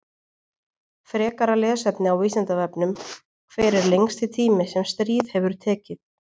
Frekara lesefni á Vísindavefnum: Hver er lengsti tími sem stríð hefur tekið?